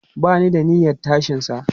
Ba ni da niyyan tashinsa.